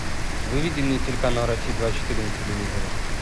выведи мне телеканал россия двадцать четыре на телевизоре